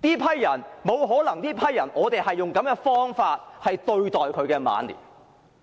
罪，我們沒有理由用這種方法來對待這群長者的晚年。